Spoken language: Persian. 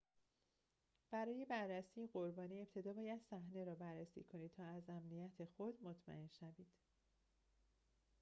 برای بررسی قربانی ابتدا باید صحنه را بررسی کنید تا از امنیت خود مطمئن شوید